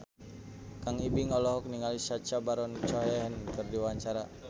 Kang Ibing olohok ningali Sacha Baron Cohen keur diwawancara